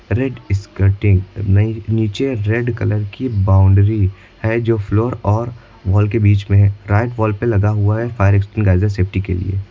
Red नई नीचे red colour की बाउंड्री है जो फ्लोर और वॉल के बीच में है राइट वॉल पे लगा हुआ है फायर एक्सटिन्गाइजर सेफ्टी के लिए।